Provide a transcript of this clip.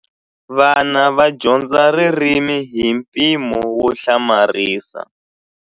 Vana va dyondza ririmi hi mpimo wo hlamarisa.